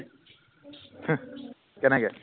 হুহ কেনেকে